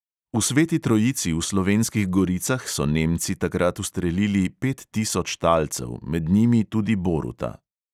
V sveti trojici v slovenskih goricah so nemci takrat ustrelili pet tisoč talcev, med njimi tudi boruta.